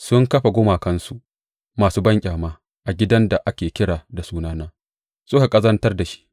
Sun kafa gumakansu masu banƙyama a gidan da ake kira da Sunana suka ƙazantar da shi.